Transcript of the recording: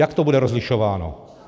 Jak to bude rozlišováno?